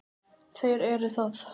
Þeir eru það.